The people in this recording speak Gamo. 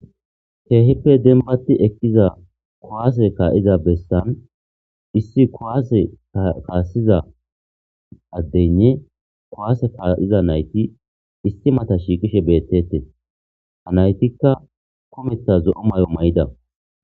Keehippe denbati ekiza kowaase kaa'iza bessan issi kowaase kaassiza addeynne kowaase kaa'iza nayti istimata shiiqishe beettete ha naytikka kumeta zo'o may'o may7ida.